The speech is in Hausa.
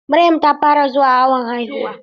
Maryam ta fara zuwa awon haihuwa.